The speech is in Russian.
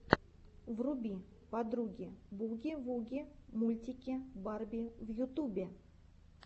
вруби подруги буги вуги мультики барби в ютубе